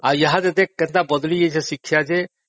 ୟା ଭିତରେ କେତେ ବଦଳି ଯାଇଛି ଶିକ୍ଷା ଯେ..